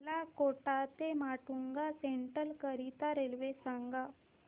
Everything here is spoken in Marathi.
मला कोटा ते माटुंगा सेंट्रल करीता रेल्वे सांगा